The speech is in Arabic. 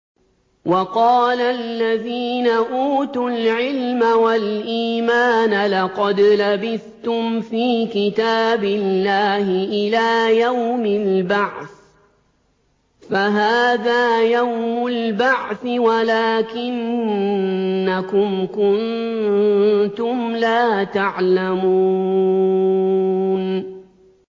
وَقَالَ الَّذِينَ أُوتُوا الْعِلْمَ وَالْإِيمَانَ لَقَدْ لَبِثْتُمْ فِي كِتَابِ اللَّهِ إِلَىٰ يَوْمِ الْبَعْثِ ۖ فَهَٰذَا يَوْمُ الْبَعْثِ وَلَٰكِنَّكُمْ كُنتُمْ لَا تَعْلَمُونَ